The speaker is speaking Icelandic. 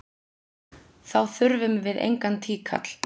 Þá þurfum við engan tíkall!